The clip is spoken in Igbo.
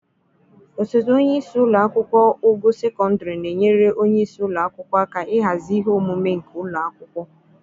Osote onye isi ụlọ akwụkwọ ogo sekondịrị na-enyere onye isi ụlọ akwụkwọ aka ịhazi ihe omume nke ụlọ akwụkwọ.